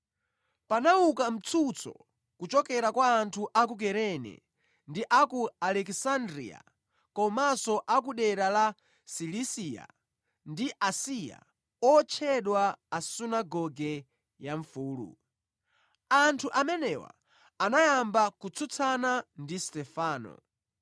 Panauka mtsutso kuchokera kwa anthu a ku Kurene ndi a ku Alekisandriya komanso a ku dera la Silisiya ndi Asiya, otchedwa a Sunagoge ya Mfulu. Anthu amenewa anayamba kutsutsana ndi Stefano.